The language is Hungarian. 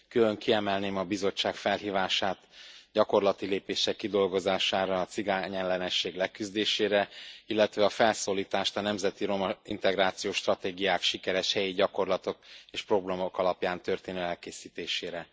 Külön kiemelném a Bizottság felhívását gyakorlati lépések kidolgozására a cigányellenesség leküzdésére, illetve a felszólítást a nemzeti romaintegrációs stratégiák, sikeres helyi gyakorlatok és programok alapján történő elkészítésére.